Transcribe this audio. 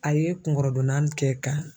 A ye kunkɔrɔdonna kɛ ka